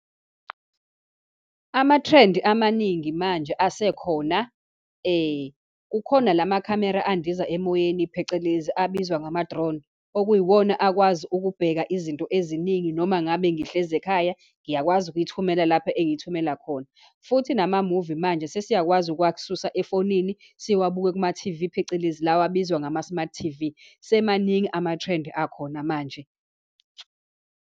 Ama-trend amaningi manje asekhona, kukhona lamakhamera andiza emoyeni, phecelezi abizwa ngama-drone, okuyiwona akwazi ukubheka izinto eziningi, noma ngabe ngihlezi ekhaya, ngiyakwazi ukuyithumela lapho engiyithumela khona. Futhi namamuvi manje sesiyakwazi ukwak'susa efonini siwabuke kumathivi, phecelezi la abizwa ngama-smart thivi. Semaningi ama-trend akhona manje.